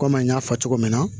Kɔmi an y'a fɔ cogo min na